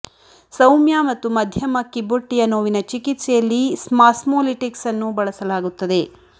ಸೌಮ್ಯ ಮತ್ತು ಮಧ್ಯಮ ಕಿಬ್ಬೊಟ್ಟೆಯ ನೋವಿನ ಚಿಕಿತ್ಸೆಯಲ್ಲಿ ಸ್ಮಾಸ್ಮೋಲಿಟಿಕ್ಸ್ ಅನ್ನು ಬಳಸಲಾಗುತ್ತದೆ